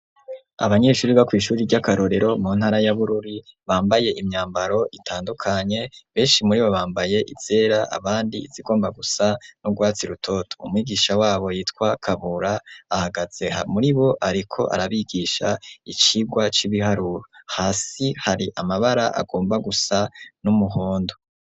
Abanyeshure bo kw'ishure ry'akarorero mu ntara ya Bururi bambaye imyambaro itandukanye, benshi muribo bambaye izera abandi izigomba gusa n'urwatsi rutoto, umwigisha wabo yitwa Kabura ahagaze muribo ariko arabigisha icirwa c'ibiharuro hasi hari amabara agomba gusa n'umuhondo.